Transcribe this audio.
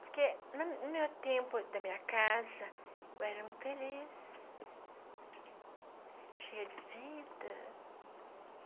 Porque no no meu tempo da minha casa, eu era muito feliz, cheia de vida.